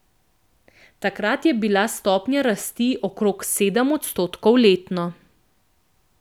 Takrat je bila stopnja rasti okrog sedem odstotkov letno.